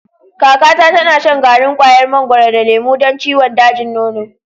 Kakata tana shan garin kwayar mangwaro da lemo don ciwon dajin nono.